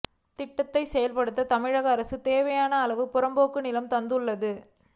திட்டத்தை செயல்படுத்த தமிழக அரசு தேவையான அளவு புறம்போக்கு நிலம் தந்துள்ளது